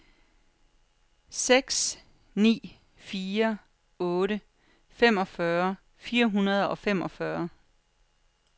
seks ni fire otte femogfyrre fire hundrede og femogfyrre